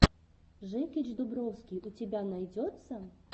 жекич дубровский у тебя найдется